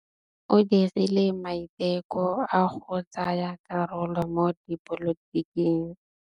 O dirile maitekô a go tsaya karolo mo dipolotiking.